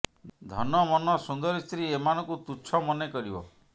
ଧନ ମନ ସୁନ୍ଦରୀ ସ୍ତ୍ରୀ ଏମାନ ଙ୍କୁ ତୁଛ ମନେ କରିବ